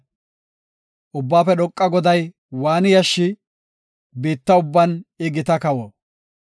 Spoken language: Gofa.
Ubbaafe dhoqa Goday waani yashshii? biitta ubban I gita kawo.